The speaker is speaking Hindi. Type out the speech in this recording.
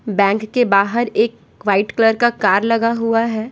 बैंक के बाहर एक वाइट कलर का कार लगा हुआ है।